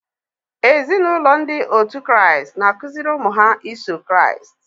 Ézì na ụlọ ndị òtù Christ n'akụziri ụmụ ha iso Christ.